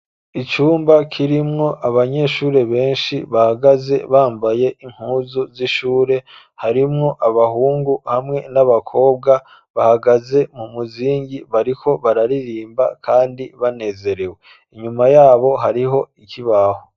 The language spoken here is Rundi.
Icumba kirimwo abanyeshuri benshi bahagaze bambaye impuzu z'ishure, harimwo abahungu hamwe n'abakobwa, bahagaze mu muzingi bariko bararirimba kandi banezerewe. Inyuma yabo hariho ikibaho.